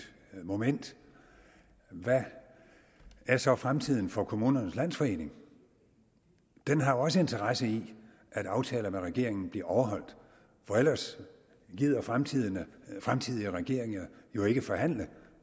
moment hvad er så fremtiden for kommunernes landsforening den har også interesse i at aftaler med regeringen bliver overholdt for ellers gider fremtidige fremtidige regeringer jo ikke forhandle